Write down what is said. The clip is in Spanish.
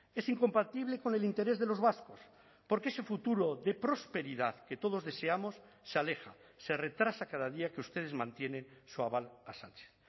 es incompatible con el interés de los vascos porque ese futuro de prosperidad que todos deseamos se aleja se retrasa cada día que ustedes mantienen su aval a sánchez